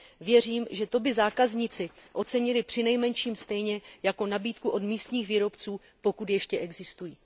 Věřím, že to by zákazníci ocenili přinejmenším stejně jako nabídku od místních výrobců, pokud ještě existují.